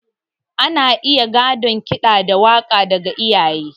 Ana iya gadon ƙida da waka daga iyaye.